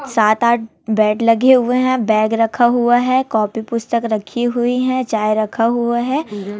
सात आठ बेड लगे हुए हैं बैग रखा हुआ है कॉपी पुस्तक रखी हुई हैं चाय रखा हुआ है।